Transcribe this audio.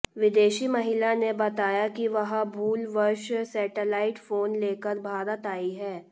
विदेशी महिला ने बताया कि वह भूलवश सेटेलाइट फोन लेकर भारत आई है